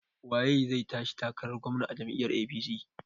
Waye zai tashi takarar gwamna a jam'iyyar APC?